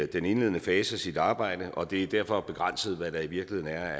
den indledende fase af sit arbejde og det er derfor begrænset hvad der i virkeligheden er